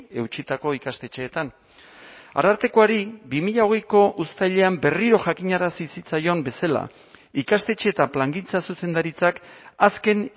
eutsitako ikastetxeetan arartekoari bi mila hogeiko uztailean berriro jakinarazi zitzaion bezala ikastetxe eta plangintza zuzendaritzak azken